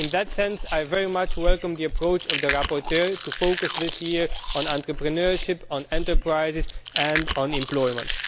In that sense I very much welcome the approach of the rapporteur to focus this year on entrepreneurship, enterprises and employment.